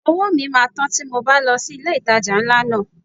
Owó mi máa tán tí mo bá lọ sí ilé ìtajà ńlá náà.